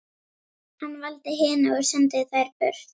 Hann valdi hina og sendi þær burt.